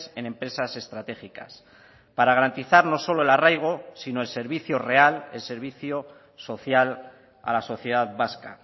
en empresas estratégicas para garantizar no solo el arraigo sino el servicio real el servicio social a la sociedad vasca